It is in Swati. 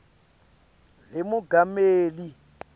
lemongameli